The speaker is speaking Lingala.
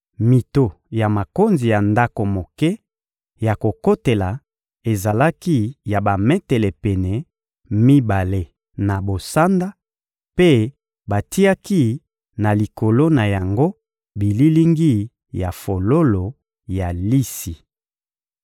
Mito ya makonzi ya ndako moke ya kokotela ezalaki ya bametele pene mibale na bosanda, mpe batiaki na likolo na yango bililingi ya fololo ya lisi.